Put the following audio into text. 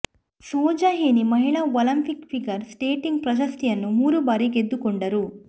Soja Henie ಮಹಿಳಾ Olympic figure skating ಪ್ರಶಸ್ತಿಯನ್ನು ಮೂರು ಬಾರಿ ಗೆದ್ದುಕೊಂಡರು